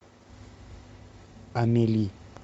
амели